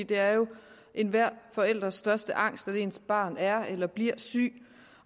det er jo enhver forældres største angst at ens barn er eller bliver sygt